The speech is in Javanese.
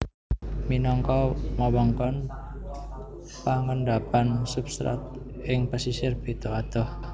Minangka wewengkon pangendapan substrat ing pesisir beda adoh